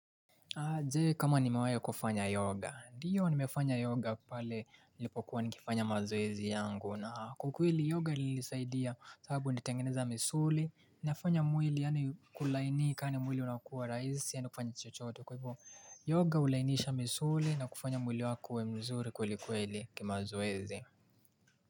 Aje, kama nimewahi kufanya yoga. Ndiyo, nimefanya yoga pale nilipokuwa nikifanya mazoezi yangu, na kwa kweli yoga ilisaidia, kwa sababu nilitengeneza misuli, inafanya mwili yaani kulainika yaani mwili unakua rahisi yaani kufanya chochote. Kwa hivyo yoga hulainisha misuli na kufanya mwili wako uwe mzuri kwelikweli kimazoezi.